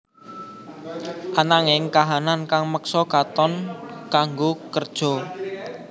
Ananging kahanan kang meksa Katon kanggo kerja